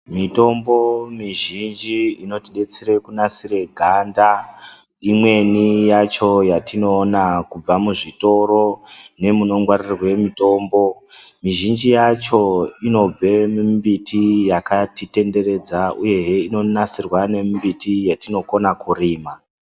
Mitombo mizhinji inotidetsere kunasire ganda, imweni yacho yatinoona kubva muzvitoro nemunongwarirwe mitombo, mizhinji yacho inobve mumbiti yakatitenderedza uyehe inonasirwe nemumbiti yatinokona kurima.